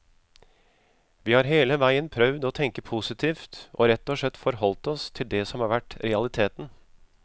Vi har hele veien prøvd å tenke positivt og rett og slett forholdt oss til det som har vært realiteten.